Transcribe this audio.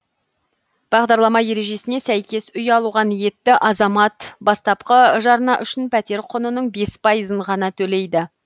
бағдарлама ережесіне сәйкес үй алуға ниетті азамат бастапқы жарна үшін пәтер құнының бес пайызын ғана төлейді